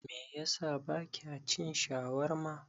Me yasa bakya cin shawarma?